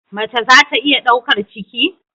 Mace za ta iya daukar ciki?